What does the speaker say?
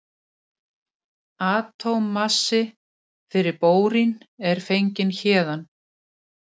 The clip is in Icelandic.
Atómmassi fyrir bórín er fenginn héðan.